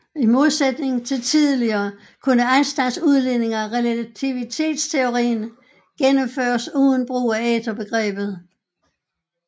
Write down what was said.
I modsætning til tidligere kunne Einsteins udledninger af relativitetsteorien gennemføres uden brug af æterbegrebet